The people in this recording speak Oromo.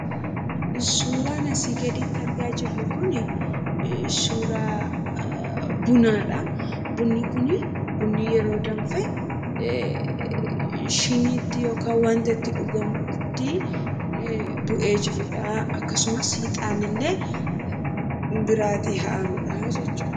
Suuraan asii gaditti argaa jirru kun suuraa bunaadha. Bunni kun bunni yeroo danfe shiiniitti yookaan wanta itti dhugamutti bu'ee jirudha akkasumas ixaannillee biraa aarudha jechuudha.